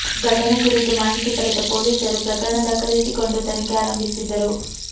ಘಟನೆ ಕುರಿತು ಮಾಹಿತಿ ಪಡೆದ ಪೊಲೀಸರು ಪ್ರಕರಣ ದಾಖಲಿಸಿಕೊಂಡು ತನಿಖೆ ಆರಂಭಿಸಿದ್ದರು